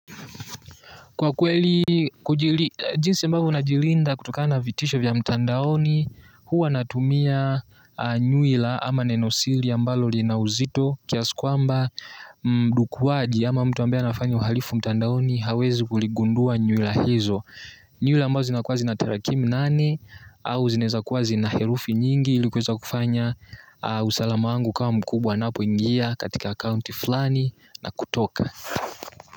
Kwa kweli, jinsi ambavyo najilinda kutokana na vitisho vya mtandaoni, huwa natumia anuila ama nenosiri ambalo lina uzito kiasi kwamba mdukuwaji ama mtu ambaye anafanya uhalifu mtandaoni hawezi kuligundua nuila hizo. Nyuila mbazo zinakuwa zina terakimu nane au zinaweza kuwa zina herufi nyingi ilikuweza kufanya usalama wangu ukawa mkubwa ninapoingia katika akaunti fulani na kutoka.